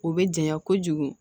O bɛ janya kojugu